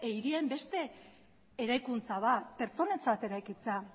hirien beste eraikuntza bat pertsonentzat eraikitzea